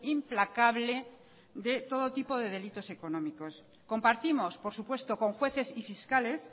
implacable de todo tipo de delitos económicos compartimos por supuesto con jueces y fiscales